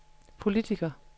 politiker